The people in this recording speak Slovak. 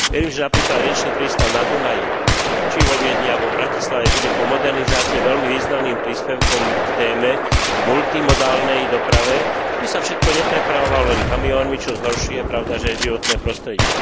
Viem, že napríklad riečny prístav na Dunaji či vo Viedni alebo v Bratislave bude po modernizácii veľmi významným príspevkom k téme, multimodálnej doprave, aby sa všetko neprepravovalo len kamiónmi, čo zhoršuje, pravdaže, životné prostredie.